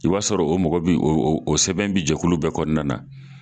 I b'a sɔrɔ o mɔgɔ bɛ o sɛbɛn bɛ jɛkulu bɛɛ kɔnɔna na.